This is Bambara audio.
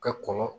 Ka kɔn